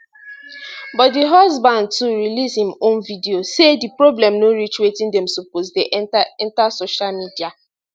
but di husband too release im own video say di problem no reach wetin dem suppose dey enta enta social media